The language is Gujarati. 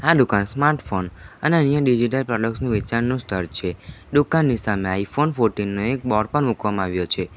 આ દુકાન સ્માર્ટફોન અને અન્ય ડિજિટલ પ્રોડક્ટસ નો વેચાણનું સ્થળ છે દુકાનની સામે આઇફોન ફોર્ટીન નો એક બોર્ડ પણ મુકવામાં આવ્યો છે.